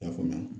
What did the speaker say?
I y'a faamuya